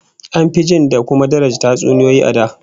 An fi jin da kuma daraja tatsuniyoyi a da